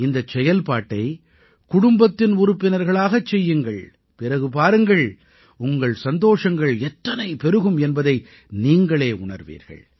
இந்தச் செயல்பாட்டை குடும்பத்தின் உறுப்பினர்களாகச் செய்யுங்கள் பிறகு பாருங்கள் உங்கள் சந்தோஷங்கள் எத்தனை பெருகும் என்பதை நீங்களே உணர்வீர்கள்